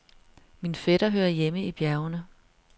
Min fætter hører hjemme i bjergene.